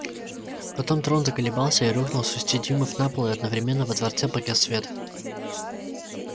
потом трон заколебался и рухнул с шести дюймов на пол и одновременно во дворце погас свет